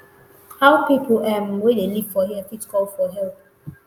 how pipo um wey dey live here fit call for help